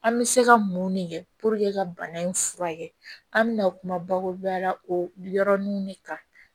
An bɛ se ka mun de kɛ ka bana in furakɛ an bɛ na kuma bakuruba la o yɔrɔnin de kan